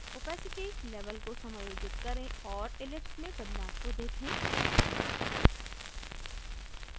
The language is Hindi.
opacity level को समायोजित करें और ellipse में बदलाव को देखें